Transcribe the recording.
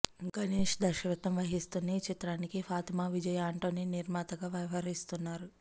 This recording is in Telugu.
గణేశ దర్శకత్వం వహిస్తున్న ఈ చిత్రానికి ఫాతిమా విజయ్ ఆంటోనీ నిర్మాతగా వ్యవహరిస్తున్నారు